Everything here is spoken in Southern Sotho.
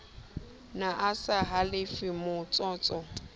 ne a sa halefe vmotsotso